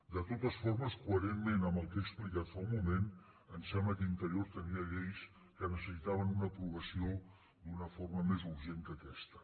de totes formes coherentment amb el que he explicat fa un moment em sembla que interior tenia lleis que necessitaven una aprovació d’una forma més urgent que aquesta